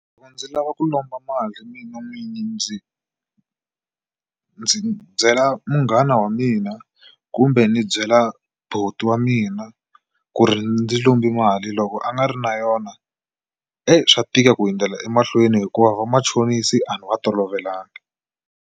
Loko ndzi lava ku lomba mali mina n'winyi ndzi ndzi byela munghana wa mina kumbe ni byela buti wa mina ku ri ndzi lombi mali loko a nga ri na yona swa tika ku hundzela emahlweni hikuva vamachonisi a ni va tolovelangi.